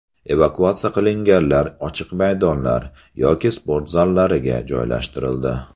Evakuatsiya qilinganlar ochiq maydonlar yoki sport zallariga joylashtirildi.